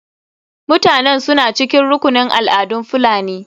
Mutanen suna cikin rukunin al'adun fulani.